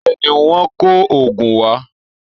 Bẹ́ẹ̀ ni, Wọ́n kò òògùn wá